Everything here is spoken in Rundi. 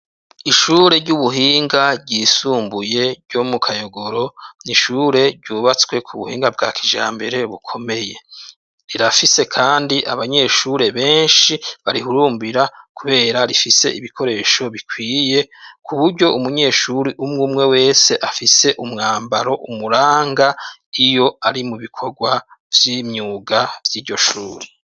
Ishure ry'ubuhinga ryisumbuye ryo mu Kayogoro, ni ishure ryubatswe ku buhinga bwa kijambere bukomeye. Rirafise kandi abanyeshure benshi barihurumbira kubera rifise ibikoresho bikwiye, ku buryo umunyeshure umwe umwe wese afise umwambaro umuranga, iyo ari mu bikorwa vy'imyuga vy'iryo shure.